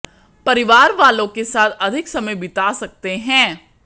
परिवार वालों के साथ अधिक समय बीता सकते हैं